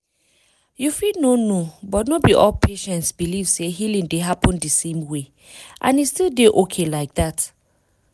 you fit no know but no be all patients believe say healing dey happen the same way — and e still dey okay like that